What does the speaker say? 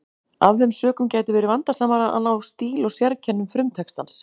Af þeim sökum gæti verið vandasamara að ná stíl og sérkennum frumtextans.